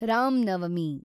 Ram Navami